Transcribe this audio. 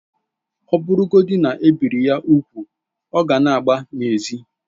Ọ bụrụgodị na e biri ya úgwù, ọ ka ga na-agba n'ezi